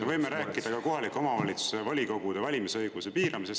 Me võime rääkida ka kohaliku omavalitsuse volikogude valimise õiguse piiramisest.